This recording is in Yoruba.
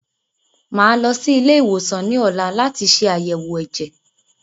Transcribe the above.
Màá lọ sí ilé ìwòsàn ní ọ̀la láti ṣe àyèwò ẹ̀jẹ̀.